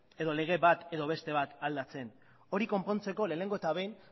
edo lege bat edo beste bat aldatzen hori konpontzeko lehenengo eta behin